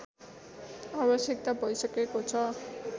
आवश्यकता भइसकेको छ